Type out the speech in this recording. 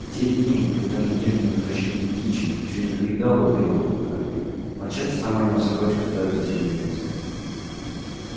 в те дни когда надежда на возвращение кичи ещё не покидала белого клыка он часто заманивал собачью стаю в соседний лес